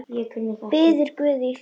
Biður guð í hljóði.